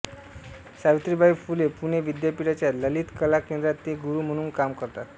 सावित्रीबाई फुले पुणे विद्यापीठाच्या ललित कला केंद्रात ते गुरू म्हणून काम करतात